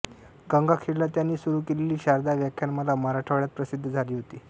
गंगाखेडला त्यांनी सुरू केलेली शारदा व्याख्यानमाला मराठवाड्यात प्रसिद्ध झाली होती